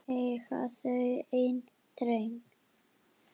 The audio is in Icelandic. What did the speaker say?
Eiga þau einn dreng.